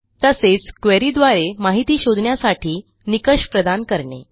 तसेच queryद्वारे माहिती शोधण्यासाठी निकष प्रदान करणे